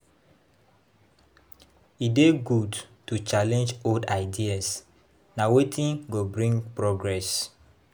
E dey good to challenge old ideas; na wetin go bring progress.